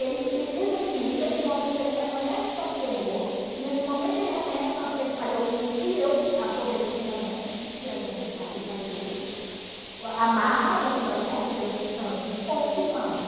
Eles precisa de mim, nesse momento ele reconhece o tanto que errou, nesse momento ele reconhece o tanto que ele falhou comigo e eu aproveito esse momento e a gente faz aí o... amarra o que nós perdemos antes com os irmãos.